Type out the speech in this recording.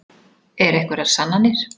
Eru einhverjar sannanir?